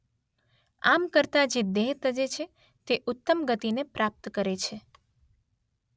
આમ કરતાં જે દેહ તજે છે તે ઉત્તમ ગતિને પ્રાપ્ત કરે છે.